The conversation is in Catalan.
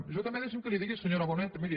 jo també deixi’m que li digui senyora bonet miri